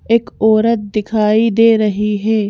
एक औरत दिखाई दे रही है।